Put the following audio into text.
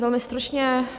Velmi stručně.